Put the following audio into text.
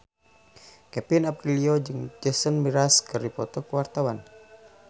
Kevin Aprilio jeung Jason Mraz keur dipoto ku wartawan